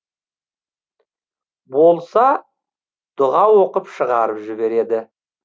болса дұға оқып шығарып жібереді